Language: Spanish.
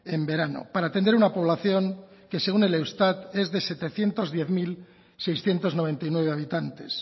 en verano para atender a una población que según el eustat es de setecientos diez mil seiscientos noventa y nueve habitantes